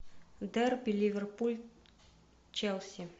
дерби ливерпуль челси